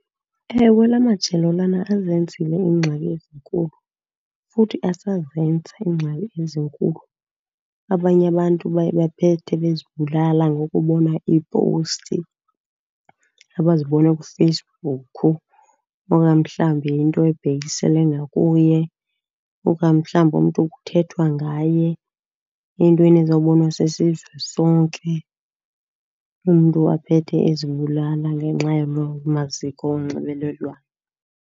Ewe, laa majelo lana azenzile iingxaki ezinkulu futhi asazenza iingxaki ezinkulu. Abanye abantu baye baphethe bezibulala ngokubona iipowusti abazibona kuFacebook. Okanye mhlawumbi yinto ebhekisele ngakuye, okanye mhlawumbi umntu kuthethwa ngaye entweni ezowubonwa sisizwe sonke. Umntu aphethe ezibulala ngenxa yaloo maziko onxibelelwano.